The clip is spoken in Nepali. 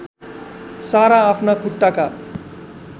सारा आफ्ना खुट्टाका